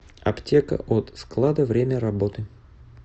аптека от склада время работы